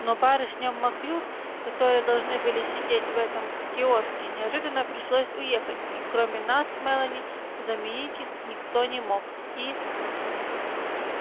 но барышням маклюр которые должны были сидеть в этом киоске неожиданно пришлось уехать и кроме нас с мелани заменить их никто не мог и